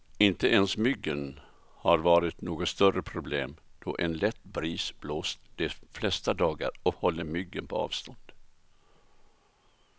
Inte ens myggen har varit något större problem, då en lätt bris blåst de flesta dagar och hållit myggen på avstånd.